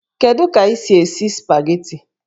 Kedu ka ị si esi spageti?